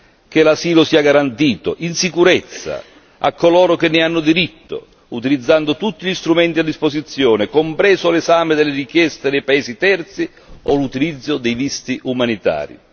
Chiediamo che l'asilo sia garantito, in sicurezza, a coloro che ne hanno diritto, utilizzando tutti gli strumenti a disposizione, compreso l'esame delle richieste dei paesi terzi o l'utilizzo dei visti umanitari.